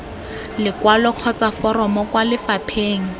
lekwalo kgotsa foromo kwa lefapheng